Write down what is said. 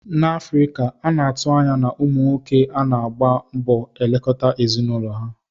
N'Afrika, a na-atụ anya ụmụ nwoke I na-agba mbọ elekọta ezinụlọ ha.